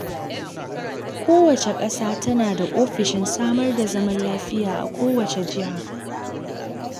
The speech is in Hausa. Kowace ƙasa tana da ofishin samar da zaman lafiya a kowace jiha.